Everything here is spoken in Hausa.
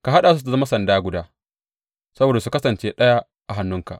Ka haɗa su su zama sanda guda saboda su kasance ɗaya a hannunka.